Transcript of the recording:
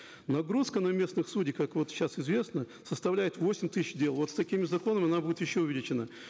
нагрузка на местных судей как вот сейчас известно составляет восемь тысяч дел вот с такими законами она будет еще увеличена